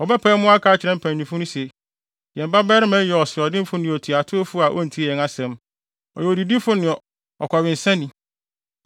Wɔbɛpae mu aka akyerɛ mpanyimfo no se, “Yɛn babarima yi yɛ ɔsoɔdenfo ne otuatewfo a ontie yɛn asɛm. Ɔyɛ odidifo ne ɔkɔwensani.”